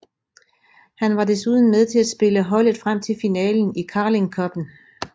Han var desuden med til at spille holdet frem til finalen i Carling Cuppen